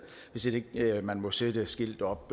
hvis ikke man må sætte et skilt op